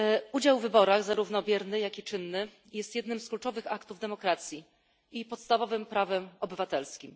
Udział w wyborach zarówno bierny, jak i czynny jest jednym z kluczowych aktów demokracji i podstawowym prawem obywatelskim.